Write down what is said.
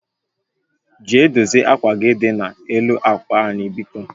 Jee dozie akwa gị dị na-elu akwa anyị biko